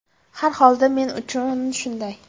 Har holda men uchun shunday.